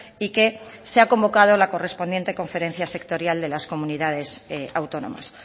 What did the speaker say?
y que se ha convocado la correspondiente conferencia sectorial de las comunidades autónomas